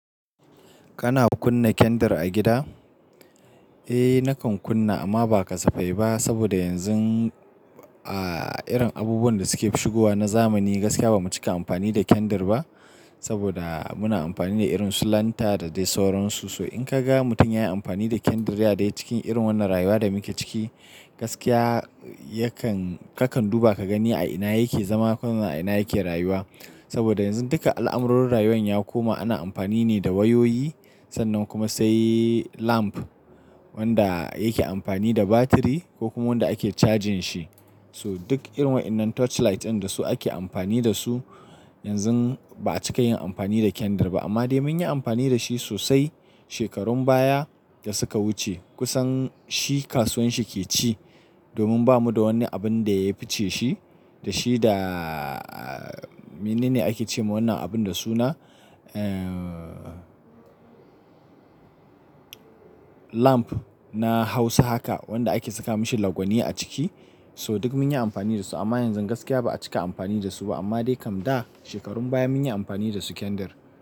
Kana kunna kendar a gida? Eh nakan kunna amma ba kasafai ba saboda yanzun a irin abubuwanda suke shigowa na zamani gaskiya bamu cika amfani da kendar ba saboda muna amfani da irin lanta da dai sauran su. So in kaga mutum yayi amfani da kendar ya dai cikin irin wannan rayuwa da muke ciki gaskiya yakan-- kakan duba ka gani a ina yake zama ko a ina yake rayuwa. Saboda yanzu duka al'amarorin rayuwa ya koma ana amfani ne da wayoyi sannan kuma sai lamp wanda yake amfani da batiri ko kuma wanda ake cajin shi. So duk irin wa'innan torchlight ɗin dasu ake amfani dasu yanzu ba a cika yin amfani da kendar ba amma dai munyi amfani dashi sosai shekarun baya da suka wuce kusan shi kasuwan shi ke ci domin bamu da wani abin da ya fice shi dashi da menene ake cema wannan abin da suna, ehhh, lamp na hausa haka wanda ake saka mishi lagwani a ciki. So duk mun yi amfani da su amma yanzu gaskiya ba a cika amfani dasu ba amma dai kam da shekarun baya munyi amfani dasu kendar.